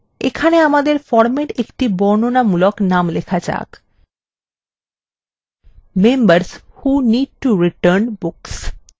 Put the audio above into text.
এখানে আমাদের ফরমের একটি বর্ণনামূলক name লেখা যাক: members who need to return books